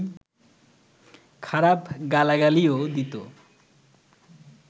খারাপ গালাগালিও দিত